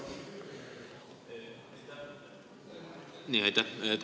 Aitäh!